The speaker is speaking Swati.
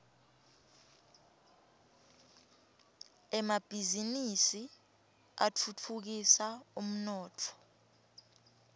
emabhiznnisi atfutfukisa umnotfo